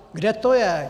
Kde to je?